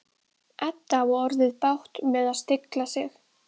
Edda á orðið bágt með að stilla sig.